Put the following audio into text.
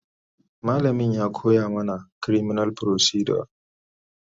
malamain ya ko ya mana criminal procedure